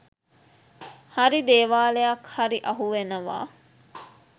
හරි දේවාලයක් හරි අහුවෙනවා